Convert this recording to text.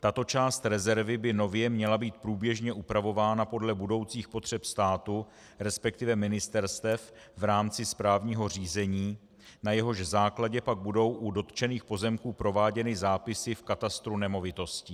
Tato část rezervy by nově měla být průběžně upravována podle budoucích potřeb státu, respektive ministerstev v rámci správního řízení, na jehož základě pak budou u dotčených pozemků prováděny zápisy v katastru nemovitostí.